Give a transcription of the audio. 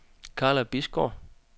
Karla Bisgaard